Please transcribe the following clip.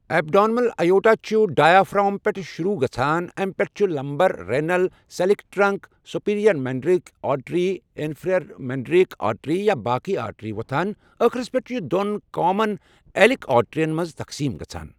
Abdominal aorta چھِ diaphragm پؠٹھ شۆروٗع گَژھان اَمہِ پؠٹھ چھِ lumbar, renal, coeliac trunk, superior mesenteric artery, inferior mesenteric artery تہٕ باقی آرٹری وَتھان آخرس پؠٹھ چھِ یہِ دۄن کامَن ایلیک آرٹریَن مَنٛز تَخصیٖم گَژھان.